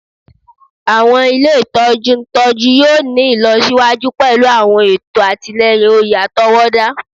Awọn ile itọju ntọju yoo ni ilọsiwaju pẹlu awọn eto atilẹyin oye atọwọda